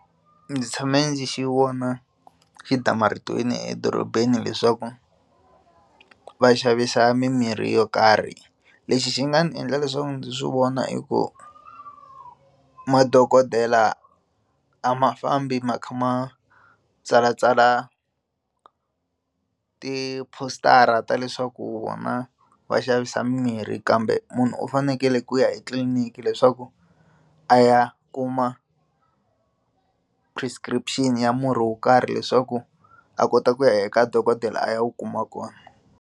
Ndzi tshame ndzi xi vona xi damarhetiwini edorobeni leswaku va xavisa mimirhi yo karhi lexi xi nga ndzi endla leswaku ndzi swi vona i ku madokodela a ma fambi ma kha ma tsalatsala ti poster-a ta leswaku vona va xavisa mimirhi kambe munhu u fanekele ku ya etliliniki leswaku a ya kuma prescription ya murhi wo karhi leswaku a kota ku ya eka dokodela a ya wu kuma kona.